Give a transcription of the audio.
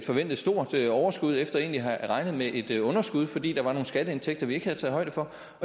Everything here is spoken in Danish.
forventet stort overskud efter egentlig at have regnet med et et underskud fordi der var nogle skatteindtægter vi ikke havde taget højde for